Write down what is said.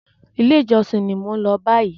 Ilé ìjosìn ní mo n lọ báyìí.